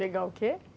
Pegar o quê?